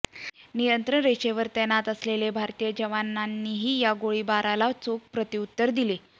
नियंत्रण रेषेवर तैनात असलेल्या भारतीय जवानांनीही या गोळीबाराला चोख प्रत्युत्तर दिले